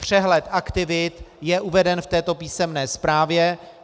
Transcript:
Přehled aktivit je uveden v této písemné zprávě.